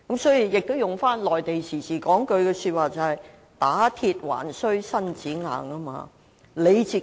套用一句內地常說的話，"打鐵還需自身硬"。